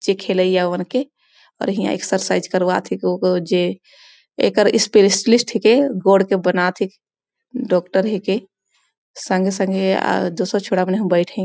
जे खेलईआ मन के ख़ेलात हे और इहा एक्सएरसाइज करवाथ है कि ओकर जे एकर स्पेलिस्ट है के गौढ़ के बनात है के डॉक्टर है के संगे -संगे दूसर छोडामनी बइठे --